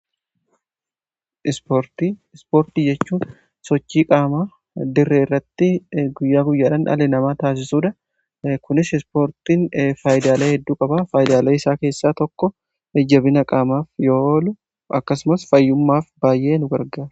Ispoortii jechuun sochii qaamaa diree irratti guyyaa guyyaadhan dhali namaa taasisuudha. Kunis ispoortiin faayidaalee hedduu qabaa faayidaalee isaa keessaa tokko jajabina qaamaaf yoo oolu akkasumas fayyummaaf baay'ee nu gargaara.